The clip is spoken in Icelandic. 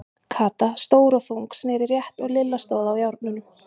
Kata, stór og þung, sneri rétt og Lilla stóð á járnunum.